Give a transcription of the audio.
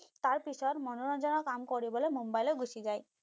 তাৰ পিছত মনোৰঞ্জনৰ কাম কৰিবলৈ মুম্বাইলৈ গুছি যায়